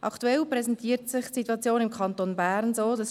Aktuell präsentiert sich die Situation im Kanton Bern folgendermassen: